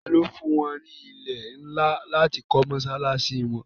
ta ni ó fún wọn ní ilẹ̀ ńlá láti kọ́ mọ́sálásí wọn?